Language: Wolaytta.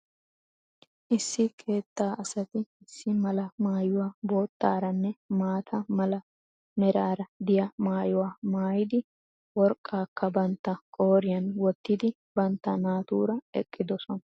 Issi keettaa asati issi mala maayuwa boottaaranne maata mala meraara diya maayuwa maayidi worqqaakka bantta qooriyaan wottidi bantta naatuura eqqidosona.